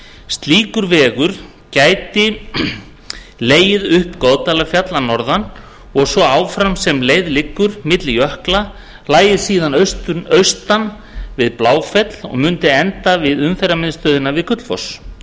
slíkur vegur gæti legið upp goðdalafjall að norðan og svo áfram sem leið liggur milli jökla lægi síðan austan við bláfell og mundi enda við umferðarmiðstöðina við gullfoss